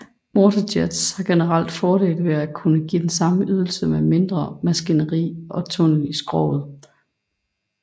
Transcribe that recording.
Waterjets har generelt fordel ved at kunne give den samme ydelse med mindre maskineri og tunnel i skroget